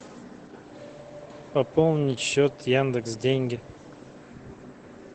пополнить счет яндекс деньги